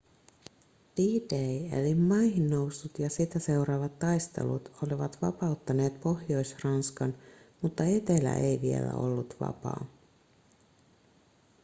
d-day eli maihinnousut ja sitä seuraavat taistelut olivat vapauttaneet pohjois-ranskan mutta etelä ei vielä ollut vapaa